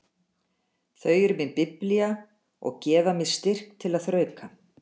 Þau eru mín biblía og gefa mér styrk til að þrauka.